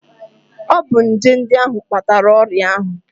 Ọ bụ nje ndị ahụ kpatara ọrịa ahụ